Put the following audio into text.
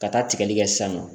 Ka taa tigɛli kɛ sisan nɔ